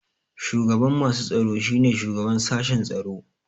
Shugaban masu tsaro shine shugaban sashen tsaro.